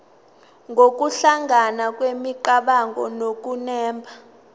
nokuhlangana kwemicabango nokunemba